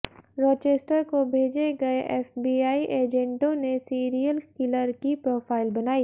Rochester को भेजे गए एफबीआई एजेंटों ने सीरियल किलर की प्रोफाइल बनाई